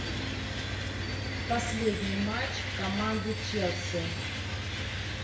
последний матч команды челси